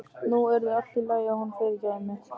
Nú yrði allt í lagi og hún fyrirgæfi mér.